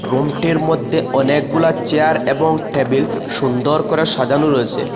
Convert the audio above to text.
অনেকগুলা চেয়ার এবং টেবিল সুন্দর করে সাজানো রয়েছে।